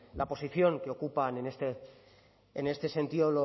la posición que ocupan en este sentido